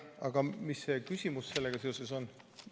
Aga mis see küsimus sellega seoses on?